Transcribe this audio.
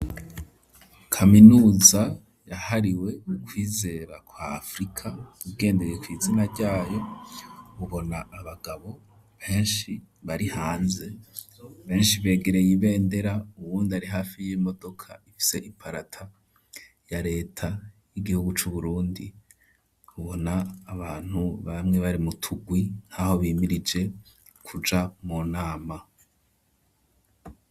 Kaminusa yahariwe ukwizera kwa afrika bigendeye kw'izina ryayo ubona abagabo beshi bari hanze beshi begereye ibendera uwundi ari hafi y'imodoka ifise iparata ya leta y'igihugu c'uburundi ubona abantu bamwe bari mu turwi nkaho bimirije kuja mu nama.